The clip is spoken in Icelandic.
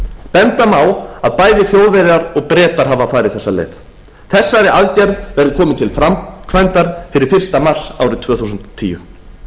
benda má á að bæði þjóðverjar og bretar hafa farið þessa leið þessari aðgerð verði komið til framkvæmdar fyrir fyrsta mars árið tvö þúsund og tíu